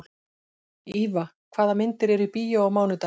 Íva, hvaða myndir eru í bíó á mánudaginn?